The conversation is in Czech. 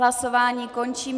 Hlasování končím.